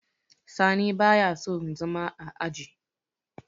sani ba ya son zama a aji